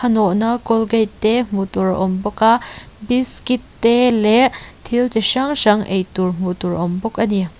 nawha colgate te hmu tur a awm bawk a biscuit te leh thil chi hrang hrang ei tur a awm bawk a ni.